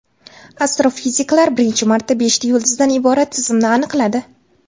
Astrofiziklar birinchi marta beshta yulduzdan iborat tizimni aniqladi.